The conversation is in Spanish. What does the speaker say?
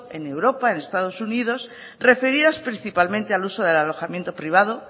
en europa en estado unidos referidas principalmente al uso del alojamiento privado